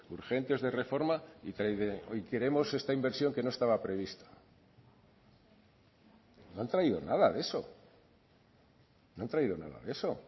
urgentes de reforma y queremos esta inversión que no estaba prevista no han traído nada de eso no han traído nada de eso